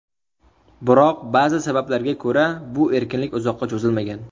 Biroq ba’zi sabablarga ko‘ra, bu erkinlik uzoqqa cho‘zilmagan.